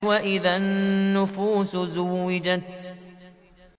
وَإِذَا النُّفُوسُ زُوِّجَتْ